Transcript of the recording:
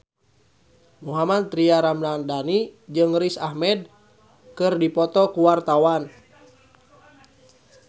Mohammad Tria Ramadhani jeung Riz Ahmed keur dipoto ku wartawan